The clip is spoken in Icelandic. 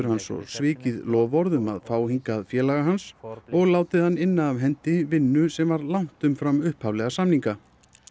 hans svo svikið loforð um að fá hingað félaga hans og látið hann inna af hendi vinnu sem var langt umfram upphaflega samninga